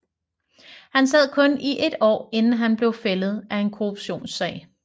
Han sad kun i et år inden han blev fældet af en korruptionssag